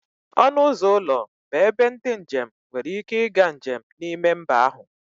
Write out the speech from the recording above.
Ọnụ ụzọ ụlọ bụ ebe ndị njem nwere ike ịga njem n'ime mba ahụ